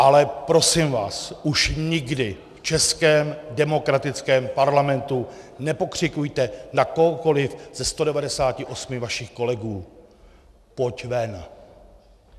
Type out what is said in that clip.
Ale prosím vás, už nikdy v českém demokratickém parlamentu nepokřikujte na kohokoliv ze 198 vašich kolegů Pojď ven!